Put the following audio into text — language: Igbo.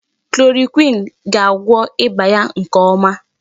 Chloroquine ga-agwọ ịba ya nke ọma.